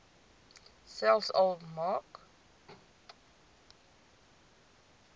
selfs al maak